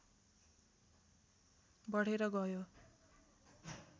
बढेर गयो